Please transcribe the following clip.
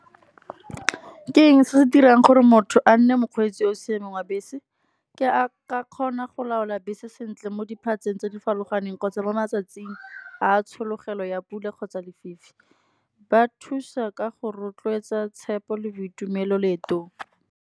Ke eng se se dirang gore motho a nne mokgweetsi yo o siameng wa bese, ke a ka kgona go laola bese sentle mo diphatseng tse di farologaneng, kgotsa mo matsatsing a tshologelo ya pula kgotsa lefifi. Ba thusa ka go rotloetsa tshepo le boitumelo leetong.